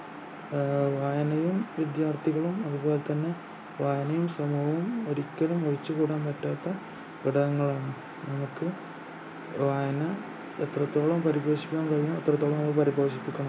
ആഹ് വായനയും വിദ്യാർത്ഥികളും അതുപൊലെ തന്നെ വായനയും സമൂഹവും ഒരിക്കലും ഒഴിച്ചുകൂടാൻപറ്റാത്ത ഘടകങ്ങളാണ് നമുക്ക് വായന എത്രത്തോളം പരിപോഷിക്കാൻ കഴിയും അത്രത്തോളം ആയി പരിപോഷിക്കണം